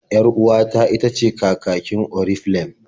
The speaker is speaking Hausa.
Yar-uwata itace kakakin Oriflem.